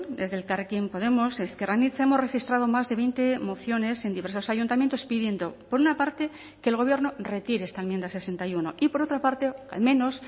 desde elkarrekin podemos ezker anitza hemos registrado más de veinte mociones en diversos ayuntamientos pidiendo por una parte que el gobierno retire esta enmienda sesenta y uno y por otra parte al menos